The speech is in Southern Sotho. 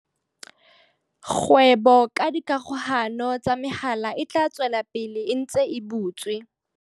Kgwebo ka dikgokahano tsa mehala e tla tswela pele e ntse e butswe.